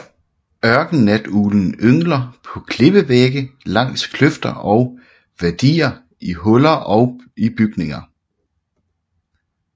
Ørkennatuglen yngler på klippevægge langs kløfter og wadier og i huller i bygninger